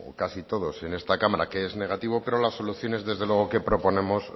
casi todos en esta cámara que es negativo pero las soluciones desde luego que proponemos